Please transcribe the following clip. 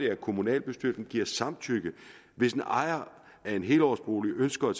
at kommunalbestyrelsen giver samtykke hvis en ejer af en helårsbolig ønsker at